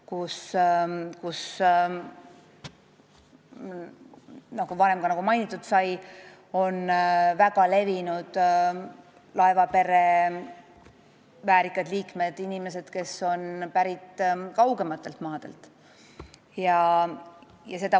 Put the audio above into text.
Nagu ka varem mainitud sai, me räägime laevapere väärikatest liikmetest, inimestest, kes on pärit kaugematelt maadelt.